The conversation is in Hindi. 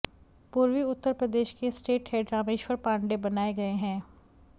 पूर्वी उत्तर प्रदेश के स्टेट हेड रामेश्वर पांडेय बनाए गए हैं